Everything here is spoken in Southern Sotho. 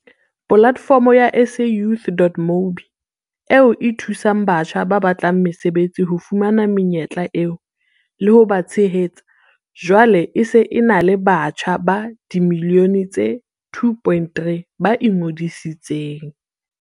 Polatefomo ya SAYouth.mobi, eo e thusang batjha ba batlang mesebetsi ho fumana menyetla eo, le ho ba tshehetsa, jwale e se e na le batjha ba dimilione tse 2.3 ba ingodisitseng.